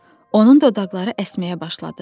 Onun dodaqları əsməyə başladı.